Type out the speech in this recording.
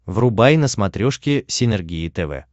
врубай на смотрешке синергия тв